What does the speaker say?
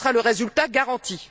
tel sera le résultat garanti.